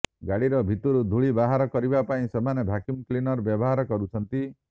ଗାଡିର଼ ଭିତରୁ ଧୂଳି ବାହାର କରିବା ପାଇଁ ସେମାନେ ଭ୍ୟାକ୍ୟୁମ୍ କ୍ଲିନର ବ୍ୟବହାର କରୁଛନ୍ତି